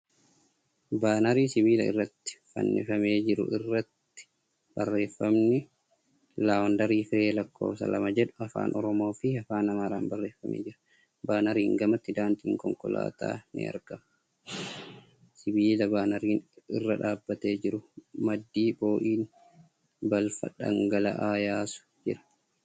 Baanarii sibiila irratti fannifamee jiru irratti barreeffamni ' Laawundarii Firee Lakkoofsa lammaffaa jedhu Afaan Oromoo fi Afaan Amaaraan barreeffamee jira. Baanariin gamatti daandiin konkolaataa ni argama. Siibilaa baanariin irra dhaabbatee jiru maddii boo'in balfa dhangala'aa yaasu jira.